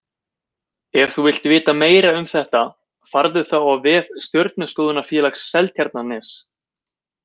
Ef þú vilt vita meira um þetta farðu þá á vef Stjörnuskoðunarfélags Seltjarnarness.